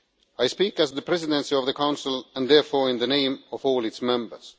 I speak as the Presidency of the Council and therefore in the name of all its Members.